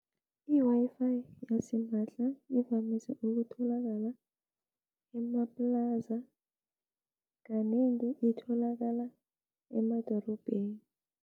I-Wi-Fi yasimahla ivamise ukutholakala emaplaza, kanengi itholakala emadorobheni.